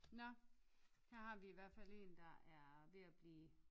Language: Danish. Nåh her har vi i hvert fald en der er ved at blive